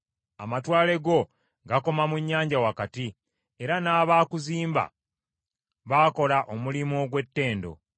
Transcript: Amatwale go gakoma mu nnyanja wakati, era n’abaakuzimba baakola omulimu ogw’ettendo.